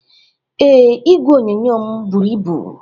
Ee, igwe onyonyo m buru ibu